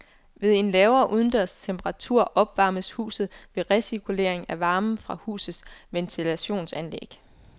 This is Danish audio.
Ved en lavere udendørs temperatur opvarmes huset ved recirkulering af varmen fra husets ventilationsanlæg.